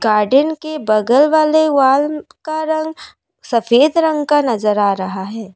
Garden के बगल वाले वाल का रंग सफ़ेद रंग का नजर आ रहा है।